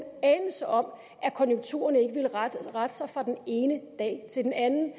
anelse om at konjunkturerne ikke vil rette rette sig fra den ene dag til den anden